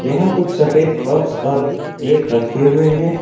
यहां कुछ सफेद कप्स और प्लेट रखे हुए हैं।